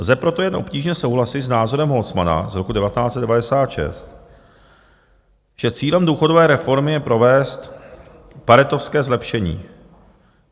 Lze proto jen obtížně souhlasit s názorem Holzmanna z roku 1996, že cílem důchodové reformy je provést paretovské zlepšení.